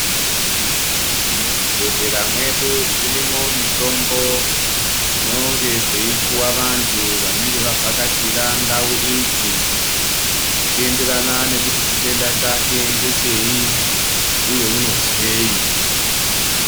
Muzvibhehlera medu zvirimo mitombo dzinonge dzei puwa vantu vanenge vavhakachira ndau idzi zvichienderana nekuti chitenda chake ngechei uye unonzwei.